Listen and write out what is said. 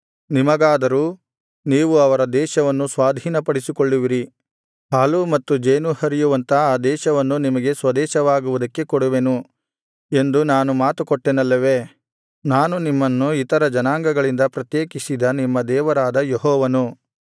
ನಿಮಗಾದರೂ ನೀವು ಅವರ ದೇಶವನ್ನು ಸ್ವಾಧೀನಪಡಿಸಿಕೊಳ್ಳುವಿರಿ ಹಾಲೂ ಮತ್ತು ಜೇನೂ ಹರಿಯುವಂಥ ಆ ದೇಶವನ್ನು ನಿಮಗೆ ಸ್ವದೇಶವಾಗುವುದಕ್ಕೆ ಕೊಡುವೆನು ಎಂದು ನಾನು ಮಾತುಕೊಟ್ಟೆನಲ್ಲವೇ ನಾನು ನಿಮ್ಮನ್ನು ಇತರ ಜನಾಂಗಗಳಿಂದ ಪ್ರತ್ಯೇಕಿಸಿದ ನಿಮ್ಮ ದೇವರಾದ ಯೆಹೋವನು